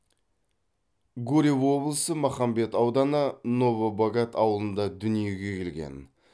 гурьев облысы махамбет ауданы новобогат ауылында дүниеге келген